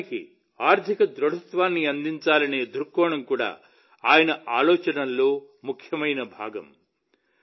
దేశానికి ఆర్థిక దృఢత్వాన్ని అందించాలనే దృక్కోణం కూడా ఆయన ఆలోచనల్లో ముఖ్యమైన భాగం